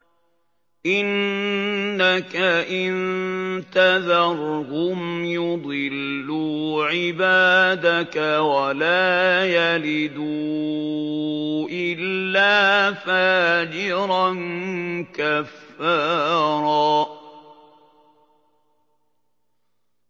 إِنَّكَ إِن تَذَرْهُمْ يُضِلُّوا عِبَادَكَ وَلَا يَلِدُوا إِلَّا فَاجِرًا كَفَّارًا